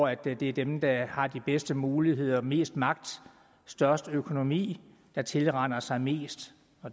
at det er dem der har de bedste muligheder og mest magt og størst økonomi der tilraner sig mest